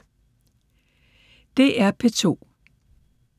DR P2